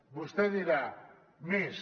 vostè dirà més